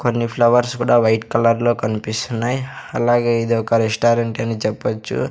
కొన్ని ఫ్లవర్స్ కూడా white colour లో కనిపిస్తున్నాయి అలాగే ఇదొక రెస్టారెంట్ అని చెప్పొచ్చు.